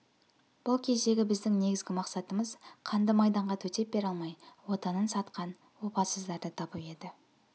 бұл кездегі біздің негізгі мақсатымыз қанды майданға төтеп бере алмай отанын сатқан опасыздарды табу еді